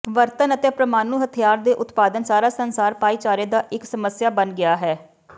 ਵਰਤਣ ਅਤੇ ਪ੍ਰਮਾਣੂ ਹਥਿਆਰ ਦੇ ਉਤਪਾਦਨ ਸਾਰਾ ਸੰਸਾਰ ਭਾਈਚਾਰੇ ਦਾ ਇੱਕ ਸਮੱਸਿਆ ਬਣ ਗਿਆ ਹੈ